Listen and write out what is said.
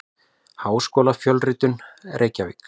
Háskólafjölritun: Reykjavík.